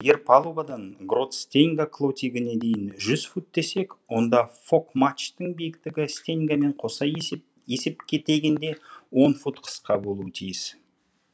егер палубадан грот стеньга клотигіне дейін жүз фут десек онда фок матчтың биіктігі стеньгамен қоса есепгенде он фут қысқа болуға тиіс